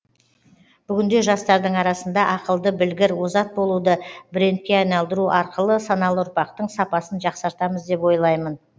бүгінде жастардың арасында ақылды білгір озат болуды брендке айналдыру арқылы саналы ұрпақтың сапасын жақсартамыз деп ойлаймын